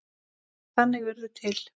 Þannig urðu til